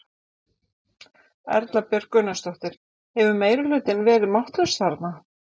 Erla Björg Gunnarsdóttir: Hefur meirihlutinn verið máttlaus þarna?